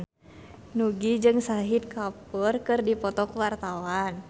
Nugie jeung Shahid Kapoor keur dipoto ku wartawan